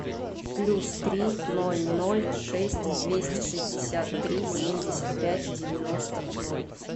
плюс три ноль ноль шесть двести шестьдесят три семьдесят пять девяносто ноль